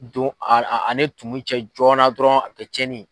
Don ani tumu cɛ joona dɔrɔn a bi kɛ cɛnni ye